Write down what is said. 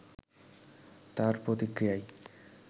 তার প্রতিক্রিয়ায়